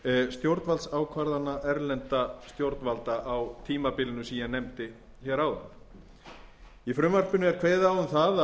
stjórnvaldsákvarðana erlendra stjórnvalda á tímabilinu sem ég nefndi hér áðan í frumvarpinu er kveðið á um það